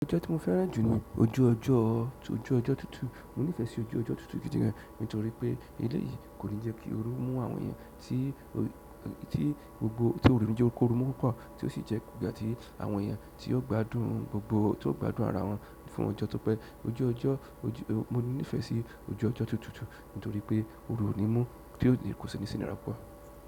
Ojú ọjọ ti mo fẹ́ràn ju ni ojú ọjọ tutu. Mo nifẹ si ojú ọjọ tutu gidigan nítorí pe ele yìí kò ní jẹ́ kí óru mú àwọn èèyàn tí gbogbo tó rìn níje kóru mú púpọ̀, tí ó sì jẹ́ ìgbà tí àwọn èèyàn tí ó gbádùn gbogbo tó gbádùn ara wọn fún ọjọ́. Nítorí pé ojú ọjọ́, mo nífẹ̀ẹ́ sí ojú ọjọ́ tutu nítorí pé óru ò ní mún kò sí ní si inira púpọ̀.